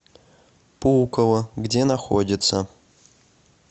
пулково где находится